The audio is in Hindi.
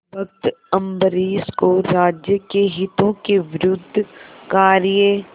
भक्त अम्बरीश को राज्य के हितों के विरुद्ध कार्य